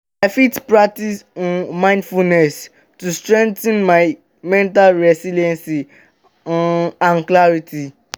i fit practice um mindfulness um to strengthen my mental resilience um and clarity.